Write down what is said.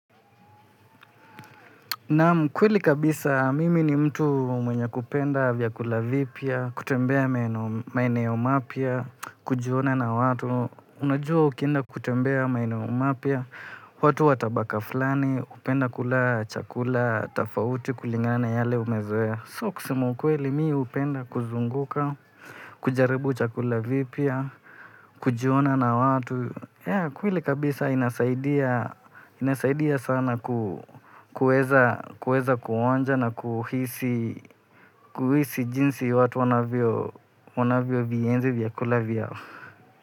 Naam, kweli kabisa mimi ni mtu mwenye kupenda vyakula vipya, kutembea maeneo mapya, kujuana na watu. Unajua ukienda kutembea maeneo mapya, watu wa tabaka fulani, hupenda kula chakula tofauti kulingana na yale umezoea. So kusema ukweli mimi hupenda kuzunguka, kujaribu chakula vipya, kujuana na watu. Yeah, kweli kabisa inasaidia sana kuweza kuonja na kuhisi jinsi watu wanavyo vienzi vyakula vyao.